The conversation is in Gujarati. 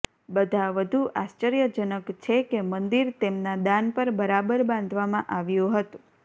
બધા વધુ આશ્ચર્યજનક છે કે મંદિર તેમના દાન પર બરાબર બાંધવામાં આવ્યું હતું